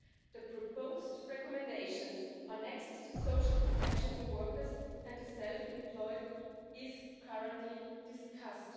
The proposed recommendations on access to social protection for workers and the self employed is currently being discussed.